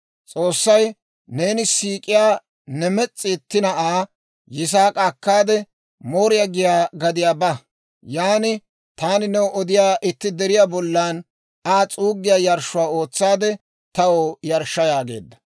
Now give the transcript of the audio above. S'oossay, «Neeni siik'iyaa ne mes's'i itti na'aa Yisaak'a akkaade, Mooriyaa giyaa gadiyaa ba; yan taani new odiyaa itti deriyaa bollan Aa s'uuggiyaa yarshshuwaa ootsaade taw yarshsha» yaageedda.